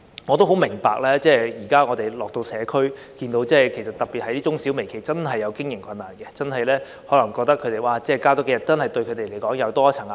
我很明白，亦在探訪社區時看到，中小微企真正面對經營上的困難，所以增加數天假期可能對他們會有多一重壓力。